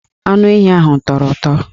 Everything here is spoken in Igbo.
Anu ehi ahụ tọrọ ụtọ